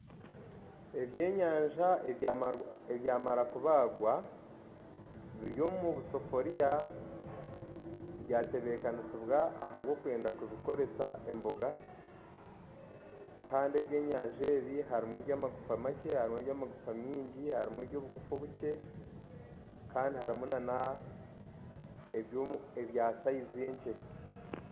Eby'enyanja ebyamara kubagwa biri omubusafuriya byatebekanisibwa ahabwokwenda kubikoresa emboga Kandi eby'enyanja ebi harumu eby'amagufa makye harumu eby'amagufa mingi harumu eby'obugufa obukye Kandi harumu n'ebyasayizi nkye.